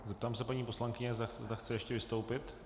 Zeptám se paní poslankyně, zda chce ještě vystoupit.